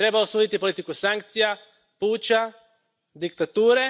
Treba osuditi politiku sankcija, puča, diktature.